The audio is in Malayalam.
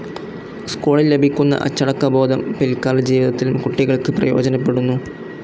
സ്കൂളിൽ ലഭിക്കുന്ന അച്ചടക്കബോധം പിൽകാലജീവിതത്തിലും കുട്ടികൾക്ക് പ്രയോജനപ്പെടുന്നു.